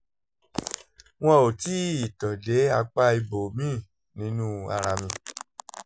wọn ò tíì tàn dé apá ibòmíì nínú ara mi